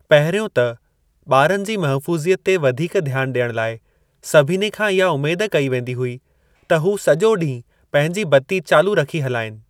पहिरियों त, ॿारनि जी महफूज़ि‍यत ते वधीक ध्‍यान ॾियण लाइ सभिनी खां इहा उम्मेद कई वेदी हुई त हू सॼो ॾींहुं पंहिंजी बत्ती चालू रखी हलाइनि।